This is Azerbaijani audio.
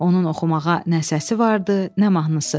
Onun oxumağa nə səsi vardı, nə mahnısı.